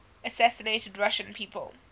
assassinated russian people